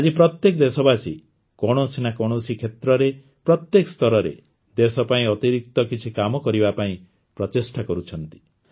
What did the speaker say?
ଆଜି ପ୍ରତ୍ୟେକ ଦେଶବାସୀ କୌଣସି ନା କୌଣସି କ୍ଷେତ୍ରରେ ପ୍ରତ୍ୟେକ ସ୍ତରରେ ଦେଶ ପାଇଁ ଅତିରିକ୍ତ କିଛି କାମ କରିବା ପାଇଁ ପ୍ରଚେଷ୍ଟା କରୁଛି